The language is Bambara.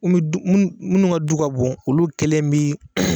Munnu du munnu munnu ka du ka bon olu kelen bi